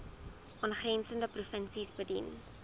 aangrensende provinsies bedien